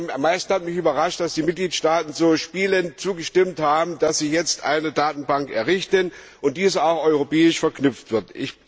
Am meisten hat mich überrascht, dass die Mitgliedstaaten so spielend zugestimmt haben, dass sie jetzt eine Datenbank errichten und diese auch europäisch verknüpft wird.